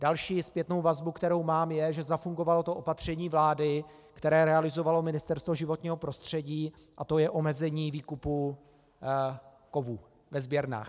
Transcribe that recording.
Další zpětnou vazbu, kterou mám, je, že zafungovalo to opatření vlády, které realizovalo Ministerstvo životního prostředí, a to je omezení výkupu kovů ve sběrnách.